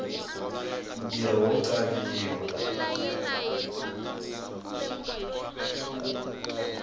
ntirho wo xaviwa